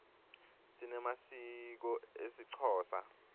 sinemasiko esixhosa